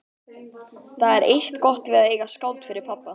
Það er eitt gott við að eiga skáld fyrir pabba.